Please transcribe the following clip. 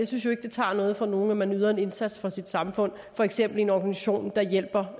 synes at det tager noget fra nogen at man yder en indsats for sit samfund for eksempel i en organisation der hjælper